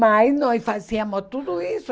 Mas nós fazíamos tudo isso.